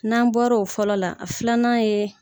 N'an bɔrɔ o fɔlɔ la, a filanan yeee.